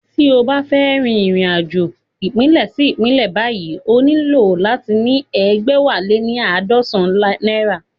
Tí o bá fẹ́ rìnrìn-àjò ìpínlẹ̀ sí ìpínlẹ̀ báyìí o nílò láti ní egbẹwaleníaadọsan náírà